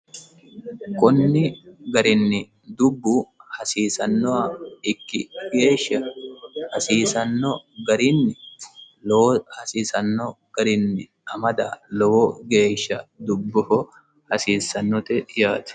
qunni garinni dubbu hasiisannoha ikki geeshsha hasiisanno garinni lowo hasiisanno garinni amada lowo geeshsha dubboho hasiissannote yaati